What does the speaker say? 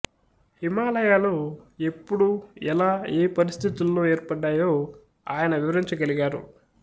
హిమాలయాలు ఎప్పుడు ఎలా ఏ పరిస్థితుల్లో ఏర్పడ్డాయో ఆయన వివరించగలిగారు